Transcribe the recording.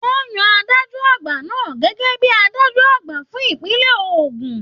Wọn yan adájọ àgbà náà gẹgẹ bíi adájọ àgbà fún ipinlẹ Ogun.